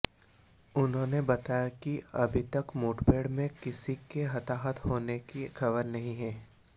उन्होंने बताया कि अभी तक मुठभेड़ में किसी के हताहत होने की खबर नहीं है